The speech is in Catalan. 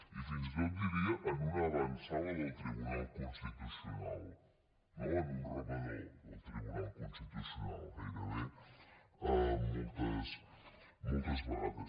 i fins i tot diria en una avantsala del tribunal constitucional no en un rebedor del tribunal constitucional gairebé moltes vegades